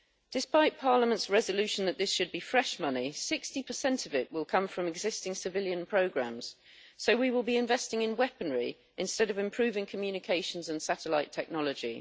Despite Parliament's resolution that this should be fresh money, 60 of it will come from existing civilian programmes, so we will be investing in weaponry instead of improving communications and satellite technology.